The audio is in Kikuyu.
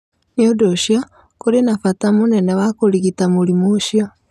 Nĩ ũndũ ũcio, kũrĩ na bata mũnene wa kũrigĩta mũrimũ ũcio.